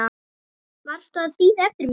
Varstu að bíða eftir mér?